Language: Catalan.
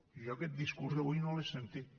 jo aquest discurs avui no l’he sentit